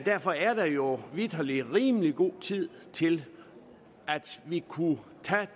derfor er der jo vitterlig rimelig god tid til at vi kunne